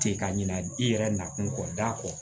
Ten ka ɲina i yɛrɛ nakun kɔ da kɔ